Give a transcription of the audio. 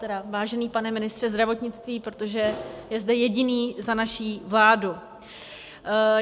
Tedy vážený pane ministře zdravotnictví, protože jste zde jediný za naši vládu.